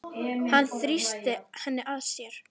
Hann þrýsti henni að sér.